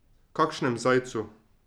Kakšnem zajcu?